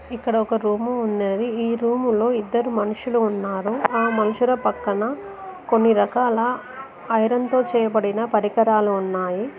ఇక్కడ ఒక రూము ఉన్నది ఈ రూములో ఇద్దరు మనుషులు ఉన్నారు ఆ మనుషుల పక్కన కొన్ని రకాల ఐరన్ తో చేయబడిన పరికరాలు ఉన్నాయి.